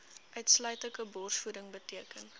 uitsluitlike borsvoeding beteken